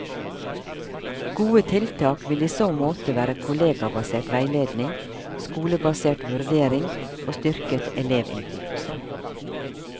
Gode tiltak vil i så måte være kollegabasert veiledning, skolebasert vurdering og styrket elevinnflytelse.